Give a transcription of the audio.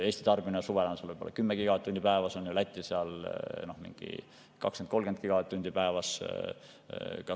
Eesti tarbimine suvel on võib‑olla 10 gigavatt-tundi päevas ja Lätil 20–30 gigavatt‑tundi päevas.